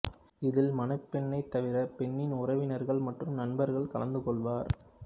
இதில் மணப்பெண்ணைத் தவிர பெண்ணின் உறவினர்கள் மற்றும் நண்பர்கள் கலந்து கொள்வர்